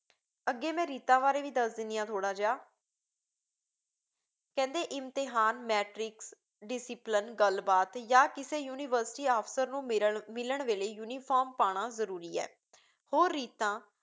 ਅੱਗੇ ਮੈਂ ਰੀਤਾਂ ਬਾਰੇ ਵੀ ਦੱਸ ਦਿੰਦੀ ਹਾਂ ਥੋੜ੍ਹਾ ਜਿਹਾ, ਕਹਿੰਦੇ ਇਮਤਿਹਾਨ, ਮੈਟ੍ਰਿਕ discipline ਗੱਲਬਾਤ ਜਾਂ ਕਿਸੇ ਯੂਨੀਵਰਸਿਟੀ ਅਫ਼ਸਰ ਨੂੰ ਮਿਰਣ ਮਿਲਣ ਵੇਲੇ uniform ਪਾਉਣਾ ਜ਼ਰੂਰੀ ਏ। ਹੋਰ ਰੀਤਾਂ